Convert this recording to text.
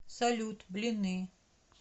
салют блины